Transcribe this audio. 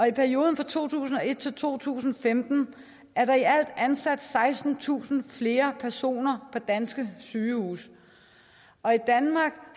i perioden fra to tusind og et til to tusind og femten er der i alt ansat sekstentusind flere personer på danske sygehuse og i danmark